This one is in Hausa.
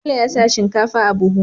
Bello ya sa shinkafa a buhu